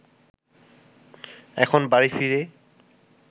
এখন বাড়ি ফিরে